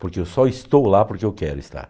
Porque eu só estou lá porque eu quero estar.